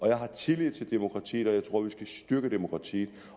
jeg har tillid til demokratiet og jeg tror at vi skal styrke demokratiet